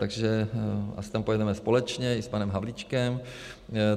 Takže my tam pojedeme společně i s panem Havlíčkem.